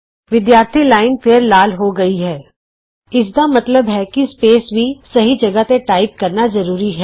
ਵਿਦਿਆਰਥੀ ਲਾਈਨ ਫੇਰ ਲਾਲ ਹੋ ਗਈ ਹੈ ਇਸ ਦਾ ਮਤਲਬ ਕਿ ਸਪੇਸ ਵੀ ਸਹੀ ਜਗਾਹ ਤੇ ਟਾਈਪ ਕਰਨਾ ਜਰੂਰੀ ਹੈ